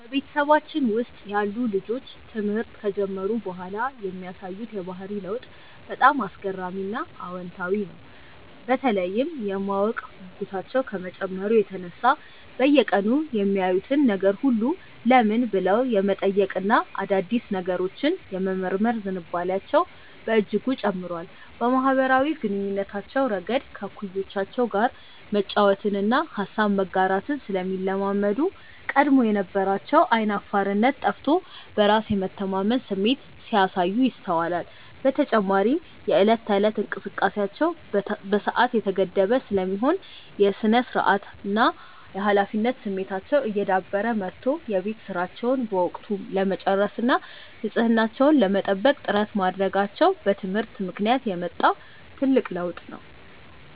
በቤተሰባችን ውስጥ ያሉ ልጆች ትምህርት ከጀመሩ በኋላ የሚያሳዩት የባህሪ ለውጥ በጣም አስገራሚና አዎንታዊ ነው፤ በተለይም የማወቅ ጉጉታቸው ከመጨመሩ የተነሳ በየቀኑ የሚያዩትን ነገር ሁሉ "ለምን?" ብለው የመጠየቅና አዳዲስ ነገሮችን የመመርመር ዝንባሌያቸው በእጅጉ ጨምሯል። በማኅበራዊ ግንኙነታቸውም ረገድ ከእኩዮቻቸው ጋር መጫወትንና ሐሳብን መጋራትን ስለሚለማመዱ፣ ቀድሞ የነበራቸው ዓይን አፋርነት ጠፍቶ በራስ የመተማመን ስሜት ሲያሳዩ ይስተዋላል። በተጨማሪም የዕለት ተዕለት እንቅስቃሴያቸው በሰዓት የተገደበ ስለሚሆን፣ የሥነ-ስርዓትና የኃላፊነት ስሜታቸው እየዳበረ መጥቶ የቤት ሥራቸውን በወቅቱ ለመጨረስና ንጽሕናቸውን ለመጠበቅ ጥረት ማድረጋቸው በትምህርት ምክንያት የመጣ ትልቅ ለውጥ ነው።